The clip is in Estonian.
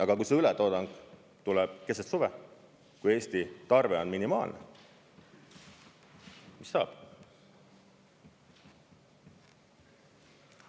Aga kui see ületoodang tuleb keset suve, kui Eesti tarve on minimaalne, mis siis saab?